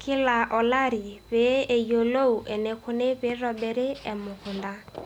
kila olari pee eyilou eniko tenitobiri emukunda.